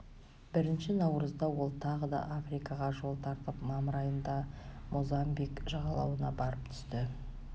бірінші наурызда ол тағы да африкаға жол тартып мамыр айында мозамбик жағалауына барып түсті